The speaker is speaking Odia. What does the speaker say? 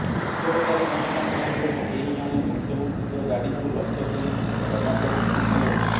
ବିକ୍ଷୋଭକାରୀ ଜନତାଙ୍କ ମଧ୍ୟରୁ କେହି ଜଣେ ମୁଖ୍ୟମନ୍ତ୍ରୀଙ୍କ ଗାଡ଼ିକୁ ଲକ୍ଷ୍ୟ କରି ଟମାଟୋ ଫିଙ୍ଗିଥିଲେ